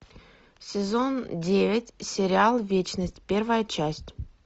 сезон девять сериал вечность первая часть